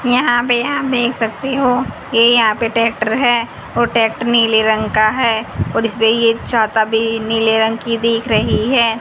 यहां पे हम देख सकते हो ये यहां पे ट्रैक्टर है और ट्रैक्टर नीले रंग का है और इस पे ये छाता भी नीले रंग की दिख रही है।